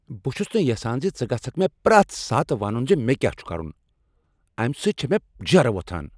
بہٕ چھس نہٕ یژھان ژٕ گژھکھ مےٚ پرٛیتھ ساتہٕ ونن ز مےٚ کیٛاہ چھ کرن۔ امہ سۭتۍ چھ مےٚ جیرٕ وۄتھان۔